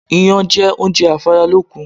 Iyán jẹ́ oúnjẹ afáralókun